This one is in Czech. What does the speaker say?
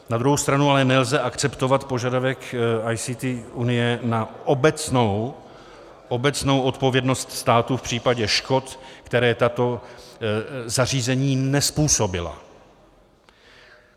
Na druhou stranu ale nelze akceptovat požadavek ICT Unie na obecnou odpovědnost státu v případě škod, která tato zařízení nezpůsobila.